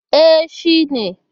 E, shi ne.